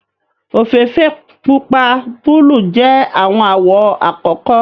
ofeefee, pupa, buluu jẹ awọn awọ akọkọ